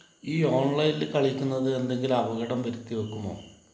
ഈ ഓൺലൈനില് കളിക്കുന്നത് എന്തെങ്കിലും അപകടം വരുത്തിവെക്കുമോ?